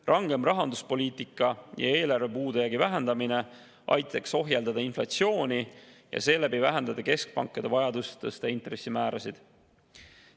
Rangem rahanduspoliitika ja eelarve puudujäägi vähendamine aitaks ohjeldada inflatsiooni ja seeläbi vähendada keskpankade vajadust tõsta intressimäärasid.